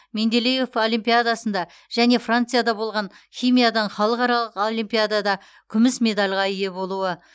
менделеев олимпиадасында және францияда болған химиядан халықаралық олимпиадада күміс медальға ие болуы